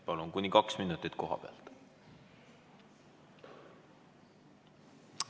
Palun, kuni kaks minutit kohapealt!